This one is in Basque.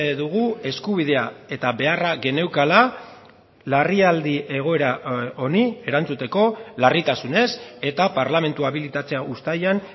dugu eskubidea eta beharra geneukala larrialdi egoera honi erantzuteko larritasunez eta parlamentua abilitatzea uztailean